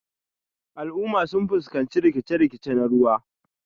Al'umma sun fuskanci rikice-rikice na ruwa.